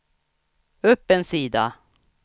upp en sida